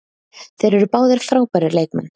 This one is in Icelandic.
Þeir eru báðir frábærir leikmenn.